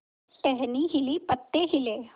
टहनी हिली पत्ते हिले